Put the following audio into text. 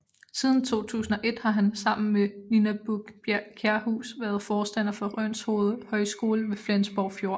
Siden 2001 har han sammen med Nina Buch Kjærhus været forstander for Rønshoved Højskole ved Flensborg Fjord